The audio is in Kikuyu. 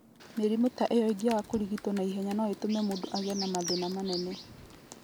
Mĩrimũ ta ĩyo ĩngĩaga kũrigitwo na ihenya no ĩtũme mũndũ agĩe na mathĩna manene.